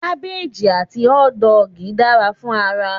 Gabbage àti hotdog dara fún ara